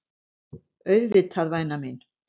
Auðvitað væna mín.